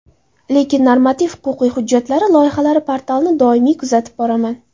Lekin normativ-huquqiy hujjatlari loyihalari portalini doimiy kuzatib boraman.